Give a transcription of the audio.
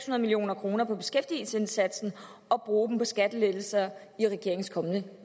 nul million kroner på beskæftigelsesindsatsen og bruge dem på skattelettelser i regeringens kommende